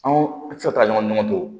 Anw tɛ se ka taa ɲɔgɔn to